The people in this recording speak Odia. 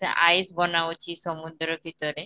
ଆଇସ ବନାଉଛି ସମୁଦ୍ର ଭିତରେ